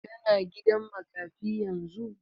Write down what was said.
Ka na gidan makafi yanzu?